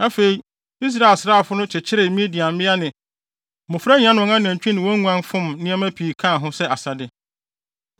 Afei, Israel asraafo no kyekyeree Midian mmea ne mmofra nyinaa ne wɔn anantwi ne wɔn nguan fom nneɛma pii kaa ho sɛ asade.